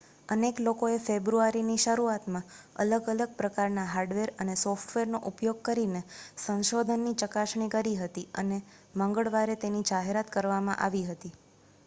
અનેક લોકોએ ફેબ્રુઆરીની શરૂઆતમાં અલગ-અલગ પ્રકારનાં હાર્ડવેર અને સોફ્ટવેરનો ઉપયોગ કરીને સંશોધનની ચકાસણી કરી લીધી હતી અને મંગળવારે તેની જાહેરાત કરવામાં આવી હતી